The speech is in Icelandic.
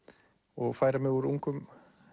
og færa mig úr ungum